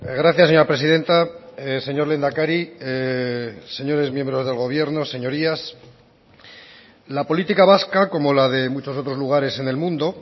gracias señora presidenta señor lehendakari señores miembros del gobierno señorías la política vasca como la de muchos otros lugares en el mundo